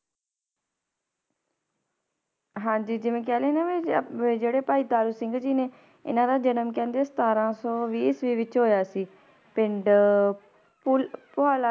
ਹਾਂਜੀ ਜਿਵੇਂ ਕਹਿ ਲੈਂਦੇ ਹਾਂ ਵੀ ਜੇ~ ਵੀ ਜਿਹੜੇ ਭਾਈ ਤਾਰੂ ਸਿੰਘ ਜੀ ਨੇ ਇਹਨਾਂ ਦਾ ਜਨਮ ਕਹਿੰਦੇ ਸਤਾਰਾਂ ਸੋ ਵੀਹ ਈਸਵੀ ਵਿੱਚ ਹੋਇਆ ਸੀ, ਪਿੰਡ ਪੁਲ~ ਪੁਹਾਲਾ